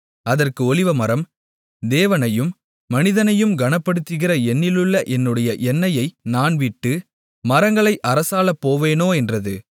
அதற்கு ஒலிவமரம் தேவனையும் மனிதனையும் கனப்படுத்துகிற என்னிலுள்ள என்னுடைய எண்ணெயை நான் விட்டு மரங்களை அரசாளப்போவேனோ என்றது